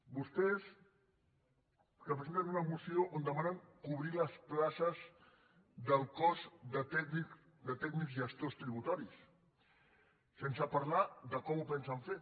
vostès que presenten una moció on demanen cobrir les places del cos de tècnics gestors tributaris sen·se parlar de com ho pensen fer